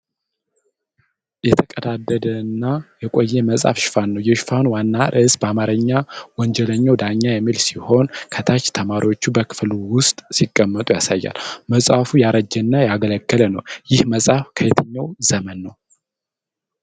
የተቀዳደደና የቆየ መጽሐፍ ሽፋን ነው። የሽፋኑ ዋና ርዕስ በአማርኛ "ወንጀኛው ዳኛ" የሚል ሲሆን፣ ከታች ተማሪዎች በክፍል ውስጥ ሲቀመጡ ያሳያል። መጽሐፉ ያረጀና ያገለገለ ነው። ይሄ መጽሐፍ ከየትኛው ዘመን ነው?